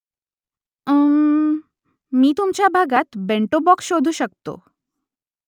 उम्म्मम्म मी तुमच्या भागात बेंटो बॉक्स शोधू शकतो